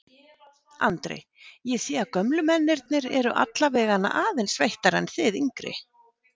Andri: Ég sé að gömlu mennirnir eru allavegana aðeins sveittari en þið yngri?